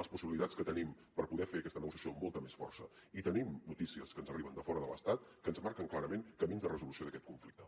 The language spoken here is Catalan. les possibilitats que tenim per poder fer aquesta negociació amb molta més força i tenim notícies que ens arriben de fora de l’estat que ens marquen clarament camins de resolució d’aquest conflicte